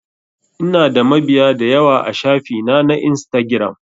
Ina da mabiya dayawa a shafi na na instagiram